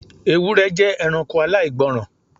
Ewúrẹ jẹ ẹranko aláìgbọràn